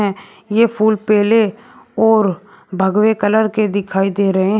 ये फूल पहले और भगवे कलर के दिखाई दे रहे हैं।